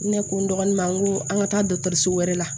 Ne ko n dɔgɔnin ma n ko an ka taa dɔkitɛriso wɛrɛ la